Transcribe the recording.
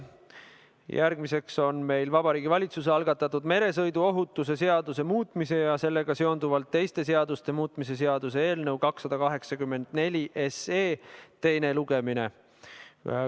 Järgmine punkt on Vabariigi Valitsuse algatatud meresõiduohutuse seaduse muutmise ja sellega seonduvalt teiste seaduste muutmise seaduse eelnõu 284 teine lugemine.